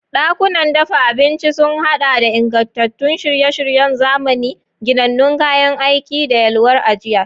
Dakunan dafa abinci na sun haɗa da ingantattun shirye-shiryen zamani, ginannun kayan aiki, da yalwar ajiya.